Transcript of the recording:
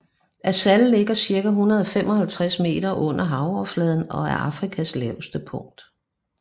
Assal ligger cirka 155 meter under havoverfladen og er Afrikas laveste punkt